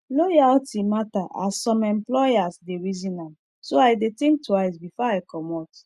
loyalty matter as some employers dey reason am so i dey think twice before i commot